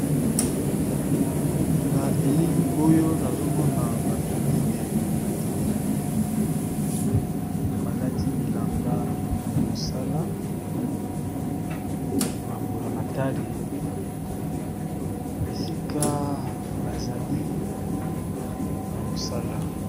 Na elili oyo nazomona bato minei batelemi balati bilamba ya mosala ya bambula-matari esika bazali na mosala.